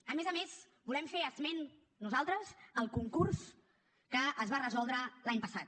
a més a més volem fer esment nosaltres del concurs que es va resoldre l’any passat